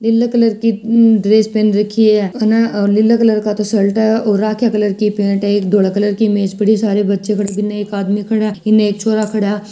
नीला colour की dress पहनने की है और नीला कलर का शर्ट है और रखिया कलर की पेंट है सारे बच्चे नीचे का आदमी खड़ा है इन एक छोरा खडा है।